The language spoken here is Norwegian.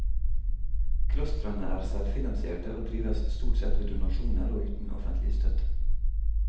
Klostrene er selvfinansierte og drives stort sett ved donasjoner og uten offentlig støtte.